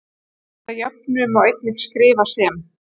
Þessa jöfnu má einnig skrifa sem